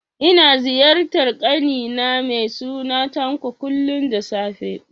Ina ziyartar ƙani na mai suna Tanko, kullum da safe